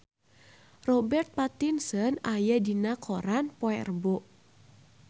Robert Pattinson aya dina koran poe Rebo